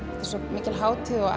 svo mikil hátíð og